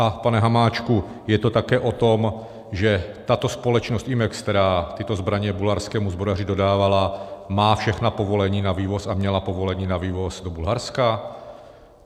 A pane Hamáčku, je to také o tom, že tato společnost Imex, která tyto zbraně bulharskému zbrojaři dodávala, má všechna povolení na vývoz a měla povolení na vývoz do Bulharska?